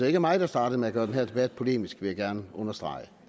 ikke mig der startede med at gøre den her debat polemisk vil jeg gerne understrege og